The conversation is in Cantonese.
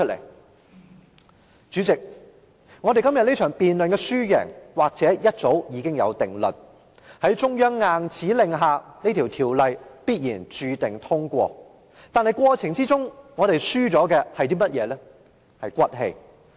代理主席，我們今天這場辯論的輸贏或早有定論，在中央硬指令下《條例草案》必定會通過，但在過程中我們所輸掉的是"骨氣"。